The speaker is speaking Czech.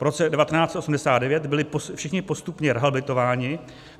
Po roce 1989 byli všichni postupně rehabilitováni.